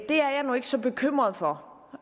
er jeg nu ikke så bekymret for